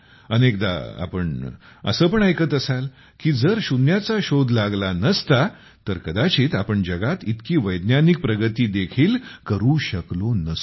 अनेकदा आपण असे पण ऐकत असाल की जर शून्याचा शोध लागला नसता तर कदाचित आपण जगात इतकी वैज्ञानिक प्रगती देखील पाहू शकलो नसतो